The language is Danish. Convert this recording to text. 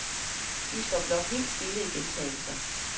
Vi står blot helt stille i gentagelser.